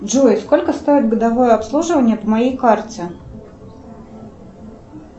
джой сколько стоит годовое обслуживание по моей карте